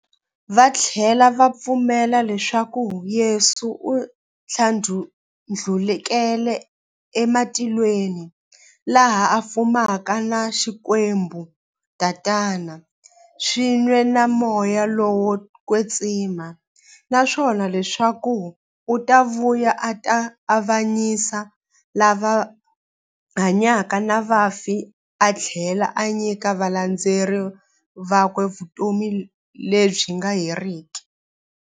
Vathlela va pfumela leswaku Yesu u thlandlukele ematilweni, laha a fumaka na Xikwembu Tatana, swin'we na Moya lowo kwetsima, naswona leswaku u ta vuya a ta avanyisa lava hanyaka na vafi athlela a nyika valandzeri vakwe vutomi lebyi nga heriki.